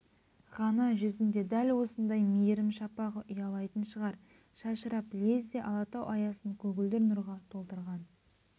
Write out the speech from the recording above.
ғана жүзінде дәл осындай мейірім шапағы ұялайтын шығар шашырап лезде алатау аясын көгілдір нұрға толтырған